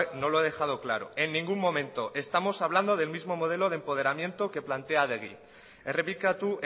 no lo he dejado claro en ningún momento estamos hablando del mismo modelo de empoderamiento que plantea adegi errepikatu